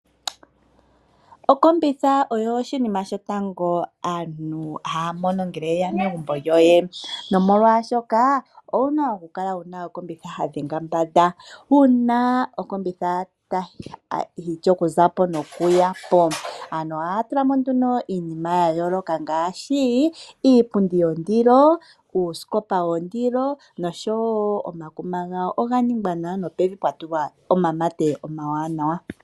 Okombitha oyo oshinima shotango aantu haya mono ngele yeya megumbo lyoye, nomolwaasho ka owuna oku kala wuna okombitha ya dhenga mbanda, uuna okombitha yishi okuza po nokuya po. Aantu ohaya tula mo nee iinima ya yooloka ngaashi: iipundi yondilo, uusikopa wondilo nosho wo omakuma gawo oga ningwa nawa nopevi pwa tulwa omamate omawanawa.